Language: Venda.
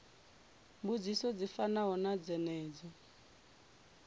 mbudziso dzi fanaho na dzenedzo